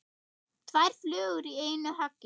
Tvær flugur í einu höggi.